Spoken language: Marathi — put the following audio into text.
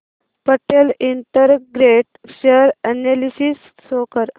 Patel integrate share analysis show कर